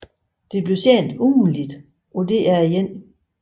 Det blev sendt ugentligt på DR1